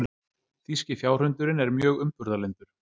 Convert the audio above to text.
Þýski fjárhundurinn er mjög umburðarlyndur.